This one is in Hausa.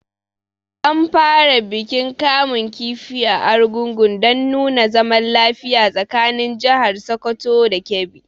An fara bikin kamun kifi a Argungun dan nuna zaman lafiya tsakanin jahar Sokoto da Kebbi